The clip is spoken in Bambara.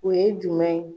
O ye jumɛn ye